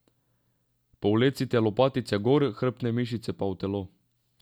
Povlecite lopatice gor, hrbtne mišice pa v telo.